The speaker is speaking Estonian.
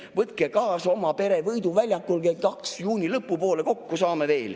Võtke kaasa oma pere, Võidu väljakul kell kaks juuni lõpupoole kokku saame.